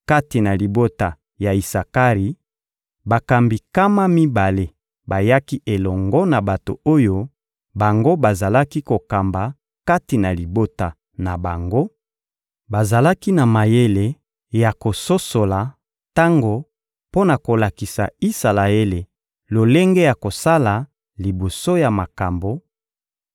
kati na libota ya Isakari: bakambi nkama mibale bayaki elongo na bato oyo bango bazalaki kokamba kati na libota na bango; bazalaki na mayele ya kososola tango mpo na kolakisa Isalaele lolenge ya kosala liboso ya makambo;